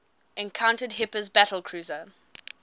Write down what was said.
encountered hipper's battlecruiser